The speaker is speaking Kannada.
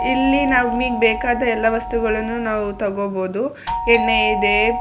ಇಲ್ಲಿ ನಾವ್ ಮೀನಿಗೆ ಬೇಕಾದ ಎಲ್ಲ ವಸ್ತುಗಳನು ನಾವು ತಗೋಲ್ಬಾಹುದು ಎಣ್ಣೆ ಇದೆ --